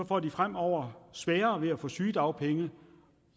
får de fremover sværere ved at få sygedagpenge